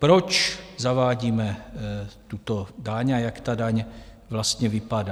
Proč zavádíme tuto daň a jak ta daň vlastně vypadá?